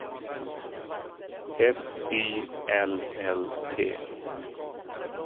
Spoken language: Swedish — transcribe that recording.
F Y L L T